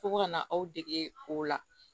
Fo ko ka na aw dege o la